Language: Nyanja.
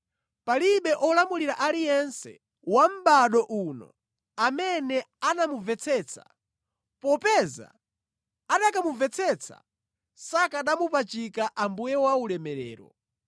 Palibe olamulira aliyense wa mʼbado uno amene anamumvetsetsa popeza anakamumvetsetsa sakanamupachika Ambuye wa ulemerero.